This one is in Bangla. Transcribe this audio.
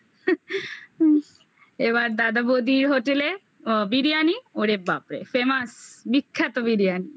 এবার দাদা বৌদির হোটেলে বিরিয়ানি ওরে বাপরে famous বিখ্যাত বিরিয়ানি